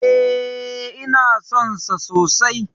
E, ina son sa sosai.